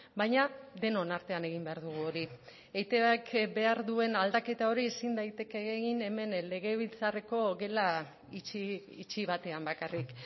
baina denon artean egin behar dugu hori eitbk behar duen aldaketa hori ezin daiteke egin hemen legebiltzarreko gela itxi batean bakarrik